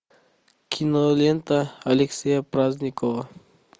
кинолента алексея праздникова